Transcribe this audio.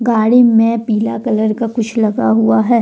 गाड़ी में पीला कलर का कुछ लगा हुआ है।